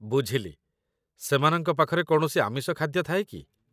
ବୁଝିଲି, ସେମାନଙ୍କ ପାଖରେ କୌଣସି ଆମିଷ ଖାଦ୍ୟ ଥାଏ କି?